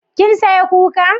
Kin saya kuka?